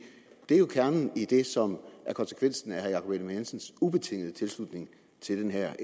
er jo kernen i det som er konsekvensen af herre jakob ellemann jensens ubetingede tilslutning til den her